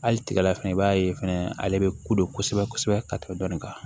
Hali tigala fɛnɛ i b'a ye fɛnɛ ale bɛ kodon kosɛbɛ kosɛbɛ ka tɛmɛ dɔni kan